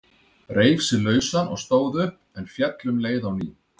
Reif sig lausan og stóð upp, en féll um leið á ný.